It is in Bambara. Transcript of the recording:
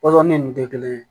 Pɔsɔni ninnu tɛ kelen ye